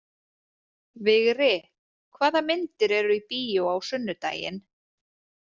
Vigri, hvaða myndir eru í bíó á sunnudaginn?